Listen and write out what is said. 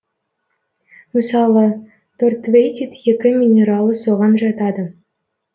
мысалы тортвейтит екі минералы соған жатады